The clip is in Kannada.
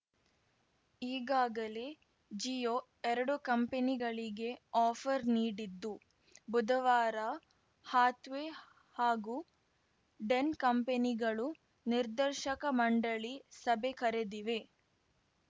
ಈಗಾಗಲೇ ಜಿಯೋ ಎರಡೂ ಕಂಪನಿಗಳಿಗೆ ಆಫರ್‌ ನೀಡಿದ್ದು ಬುಧವಾರ ಹಾಥ್‌ವೇ ಹಾಗೂ ಡೆನ್‌ ಕಂಪೆನಿಗಳು ನಿರ್ದೇಶಕ ಮಂಡಳಿ ಸಭೆ ಕರೆದಿವೆ